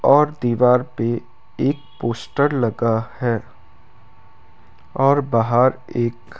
और दीवार पे एक पोस्टर लगा है और बाहर एक --